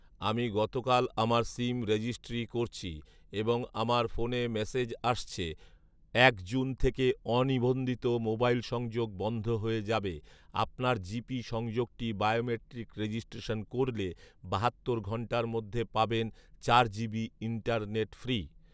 আমি গতকাল আমার সিম রেজিস্ট্রি করছি, এবং আমার ফোনে মেসেজ আসছে, এক জুন থেকে অনিবন্ধিত মোবাইল সংযোগ বন্ধ হয়ে যাবে। আপনার জিপি সংযোগটি বায়োমাট্রিক রেজিস্ট্রেশন করলে বাহাত্তর ঘণ্টার মধ্যে পাবেন চার জিবি ইন্টারনেট ফ্রি।